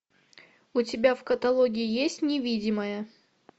у тебя в каталоге есть невидимая